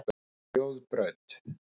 Þjóðbraut